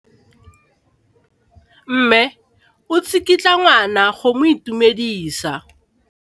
Mme o tsikitla ngwana go mo itumedisa.